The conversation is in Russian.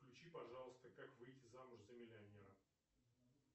включи пожалуйста как выйти замуж за миллионера